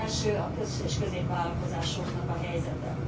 Az első a kis és középvállalkozásoknak a helyzete.